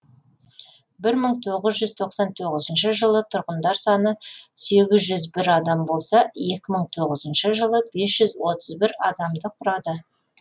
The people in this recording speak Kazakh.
бір мың тоғыз тоқсан тоғызыншы жылы тұрғындар саны сегіз жүз бір адам болса екі мың тоғыз жылы бес жүз отыз бір адамды құрады